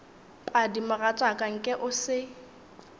padi mogatšaka nke o se